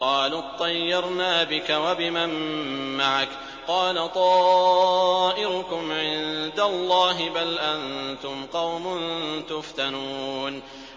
قَالُوا اطَّيَّرْنَا بِكَ وَبِمَن مَّعَكَ ۚ قَالَ طَائِرُكُمْ عِندَ اللَّهِ ۖ بَلْ أَنتُمْ قَوْمٌ تُفْتَنُونَ